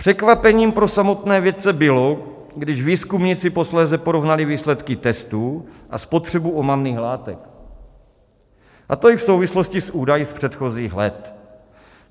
Překvapením pro samotné vědce bylo, když výzkumníci posléze porovnali výsledky testů a spotřebu omamných látek, a to i v souvislosti s údaji z předchozích let.